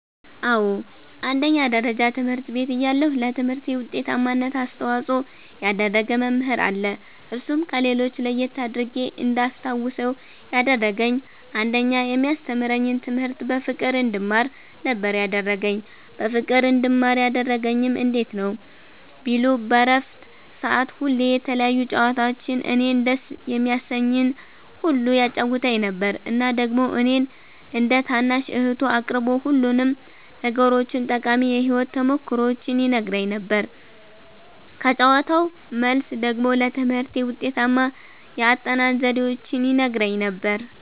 አዎ አንደኛ ደረጃ ትምህርት ቤት እያለሁ ለትምህርቴ ዉጤታማነት አስተዋፅኦ ያደረገ መምህር አለ እርሱም ከሌሎች ለየት አድርጌ እንዳስታዉሰዉ ያደረገኝ አንደኛ የሚያስተምረኝን ትምህርት በፍቅር እንድማር ነበረ ያደረገኝ በፍቅር እንድማር ያደረገኝም እንዴት ነዉ ቢሉ በረፍት ሰዓት ሁሌ የተለያዩ ጨዋታዎችን እኔን ደስ የሚያሰኘኝን ሁሉ ያጫዉተኝ ነበረ እና ደግሞ እኔን እንደ ታናሽ እህቱ አቅርቦ ሁሉንም ነገሮቹን ጠቃሚ የህይወት ተሞክሮዎቹን ይነግረኝ ነበረ ከጨዋታዉ መልስ ደግሞ ለትምህርቴ ውጤታማ የአጠናን ዘዴዎችን ይነግረኝም ነበረ።